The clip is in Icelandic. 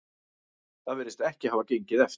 Það virðist ekki hafa gengið eftir